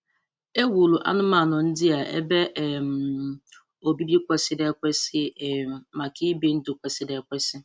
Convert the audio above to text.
E wuru anụmanụ ndị a ebe um obibi kwesịrị ekwesị um maka ibi ndụ kwesịrị ekwesị.